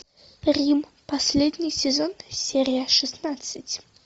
рим последний сезон серия шестнадцать